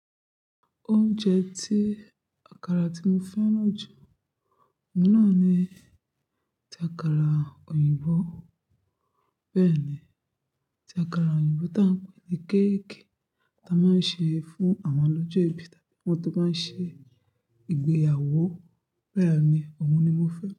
Oúnjẹ tí àkàrà tí mo fẹ́ràn jù ní náà ni ti àkàrà òyìnbó. Bẹ́ẹ̀ ni, ti àkàrà òyìnbó ta n pè ní cake ta máa ń ṣe fún àwọn lójú ẹbí tàbí àwọn tó bá ń ṣe ìgbéyàwó. Beeni ni, òun ni mo fẹ́